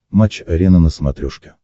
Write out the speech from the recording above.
матч арена на смотрешке